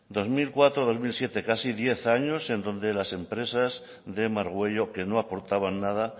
dos mil cuatro dos mil siete casi diez años donde las empresas de margüello que no aportaban nada